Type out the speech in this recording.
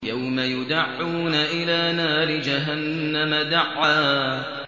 يَوْمَ يُدَعُّونَ إِلَىٰ نَارِ جَهَنَّمَ دَعًّا